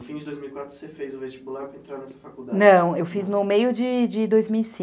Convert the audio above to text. E em dois mil e quatro você fez o vestibular para entrar nessa faculdade? não, eu fiz no meio de dois mil e cinco.